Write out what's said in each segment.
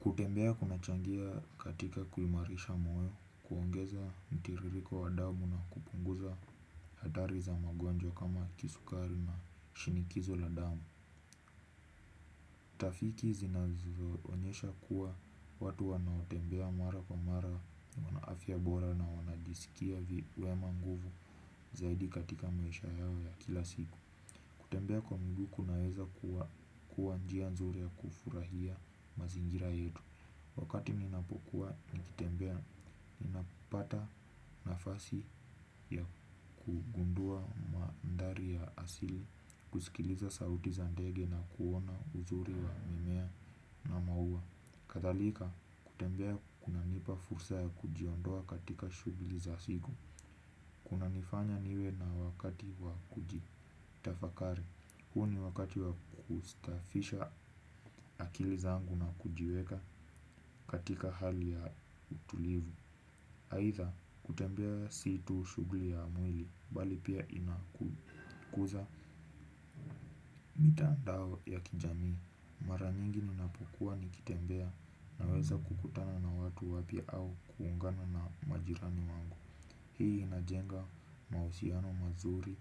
Kutembea kunachangia katika kuimarisha moyo, kuongeza mtiririko wa damu na kupunguza hadhari za magonjwa kama kisukari na shinikizo la damu. Utafiti zinazo onyesha kuwa watu wanao tembea mara kwa mara wana afya bora na wanajiskia wakiwemo nguvu zaidi katika maisha yao ya kila siku kutembea kwa mguu kunaweza kuwa nchia mzuri ya kufurahia mazingira yetu. Wakati ninapokuwa nikitembea, ninapata nafasi ya kugundua mandari ya asili, kusikiliza sauti za ndege na kuona uzuri wa mimea na maua. Kadhalika, kutembea kunanipa fursa ya kujiondoa katika shuguli za siku. Kuna nifanya niwe na wakati wa kujitafakari. Huu ni wakati wa kustafisha akili zangu na kujiweka katika hali ya utulivu. Haitha, kutembea si tu shuguli ya mwili, bali pia inakuza. Mitandao ya kijamii, mara nyingi ninapokua nikitembea na weza kukutana na watu wapya au kuungana na majirani wangu. Hii inajenga mahusiano mazuri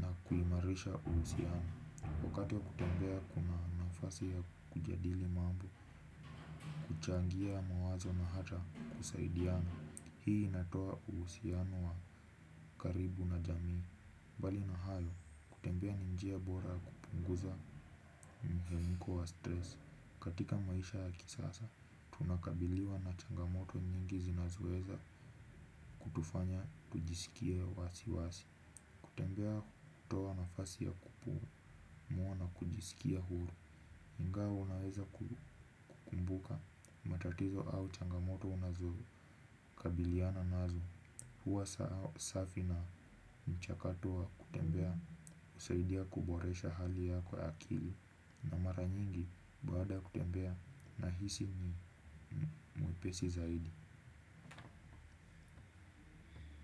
na kuimarisha uhusiano. Wakati ya kutembea kuna nafasi ya kujadili mambo, kuchangia mawazo na hata kusaidiana. Hii inatoa uhusiano wa karibu na jamii. Mbali na hayo, kutembea ni njia bora kupunguza mihemko wa stress. Katika maisha ya kisasa, tunakabiliwa na changamoto nyingi zinazoeza kutufanya tujisikie wasiwasi. Kutembea hutoa nafasi ya kupumua na kujisikia huru. Ingawa unaweza kukumbuka matatizo au changamoto unazo kabiliana nazo huwa safi na mchakato wa kutembea husaidia kuboresha hali yako ya akili. Na mara nyingi baada ya kutembea nahisi ni mwepesi zaidi.